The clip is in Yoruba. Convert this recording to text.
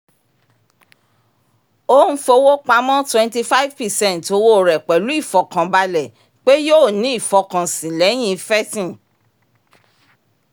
ó n fowó pamọ́ twenty five percent owó rẹ̀ pẹ̀lú ìfọkànbalẹ̀ pé yóò ní ìfọkànsìn lẹ́yìn ifẹ́tìn